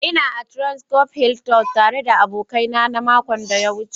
Ina a transcorp Hilton tare da abokanai na makon da ya wuce.